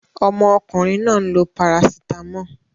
Omo okunrin naa n lo paracetamol.